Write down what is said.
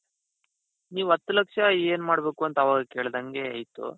ನೀವು ಹತ್ತು ಲಕ್ಷ ಏನ್ ಮಾಡ್ಬೇಕು ಅಂತ ಅವಾಗ್ಲೇ ಕೇಳ್ದಂಗೆ ಇತ್ತು.